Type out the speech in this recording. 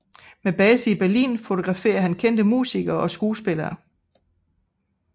Med base i Berlin fotografer han kendte musikere og skuespillere